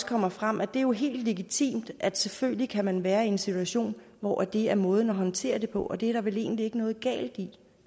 kommer frem at det er helt legitimt at man selvfølgelig kan være i en situation hvor det er måden at håndtere det på og det er der vel egentlig ikke noget galt i